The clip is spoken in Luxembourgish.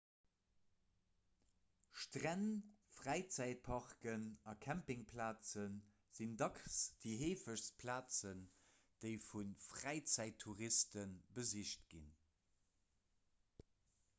stränn fräizäitparken a campingplaze sinn dacks déi heefegst plazen déi vu fräizäittouriste besicht ginn